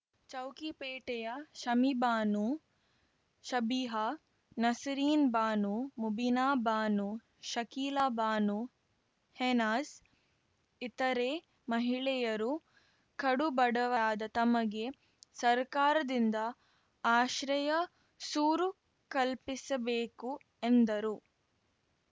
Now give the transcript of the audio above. ಚೌಕಿಪೇಟೆಯ ಶಮೀಬಾನು ಸಬಿಹಾ ನಸೀರೀನ್ ಬಾನು ಮುಬೀನಾ ಬಾನು ಶಕೀಲಾ ಬಾನು ಹೀನಾಜ್‌ ಇತರೇ ಮಹಿಳೆಯರು ಕಡು ಬಡವರಾದ ತಮಗೆ ಸರ್ಕಾರದಿಂದ ಆಶ್ರಯ ಸೂರು ಕಲ್ಪಿಸಬೇಕು ಎಂದರು